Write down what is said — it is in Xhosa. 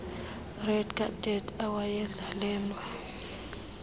red carpet awayendlalelwe